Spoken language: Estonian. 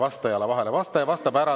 vastaja vastab ära.